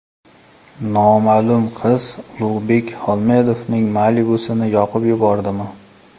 Noma’lum qiz Ulug‘bek Xolmedovning Malibu’sini yoqib yubordimi?